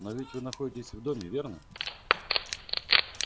но ведь вы находитесь в доме верно